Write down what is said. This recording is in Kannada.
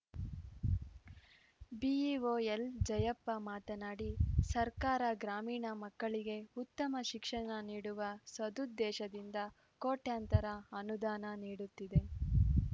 ಬಿಇಒ ಎಲ್‌ಜಯಪ್ಪ ಮಾತನಾಡಿ ಸರ್ಕಾರ ಗ್ರಾಮೀಣ ಮಕ್ಕಳಿಗೆ ಉತ್ತಮ ಶಿಕ್ಷಣ ನೀಡುವ ಸದುದ್ದೇಶದಿಂದ ಕೋಟ್ಯಂತರ ಅನುದಾನ ನೀಡುತ್ತಿದೆ